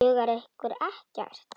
Dugar ykkur ekkert?